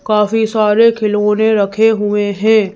काफी सारे खिलौने रखे हुए हैं।